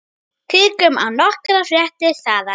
Kíkjum á nokkrar fréttir þaðan.